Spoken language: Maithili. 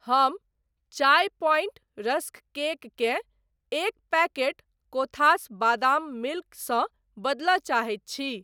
हम चाय पॉइंट रस्क केक केँ एक पैकेट कोथास बादाम मिल्क सँ बदलय चाहैत छी।